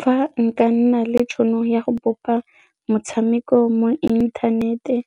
Fa nka nna le tšhono ya go bopa motshameko mo inthaneteng